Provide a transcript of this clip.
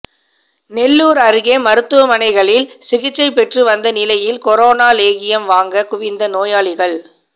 நெல்லூர் அருகே மருத்துவமனைகளில் சிகிச்சை பெற்று வந்த நிலையில் கொரோனா லேகியம் வாங்க குவிந்த நோயாளிகள்